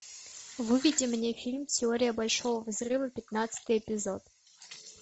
выведи мне фильм теория большого взрыва пятнадцатый эпизод